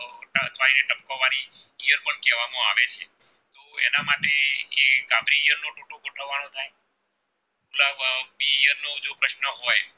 ન હોય